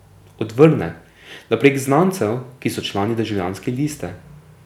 Odvrne, da prek znancev, ki so člani Državljanske liste.